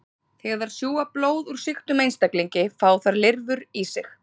Þegar þær sjúga blóð úr sýktum einstaklingi fá þær lirfur í sig.